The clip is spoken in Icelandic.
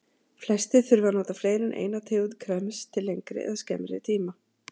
Flestir þurfa að nota fleiri en eina tegund krems til lengri eða skemmri tíma.